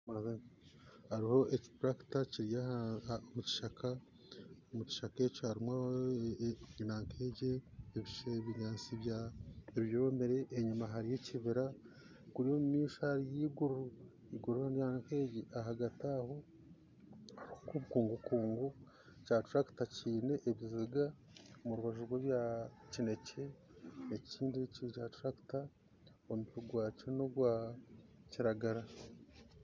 Hariho ekiturakita kiri omu kishaka, mu kishaka eki harumu nanka egi ebinyansi ebyomire enyuma hariyo ekibira kuriya omu maisho hariyo iguru ahagati aho hariho enkungukungu kya turakita kine ebibega omu rubaju rw'ebya kinekye. Ekindi, ekyo kyaturakita omutwe gwakyo n'ogwa kiragara